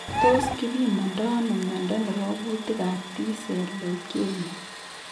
Tos kibimondo ano mnyondo nebo gutiik ab T cell leukemia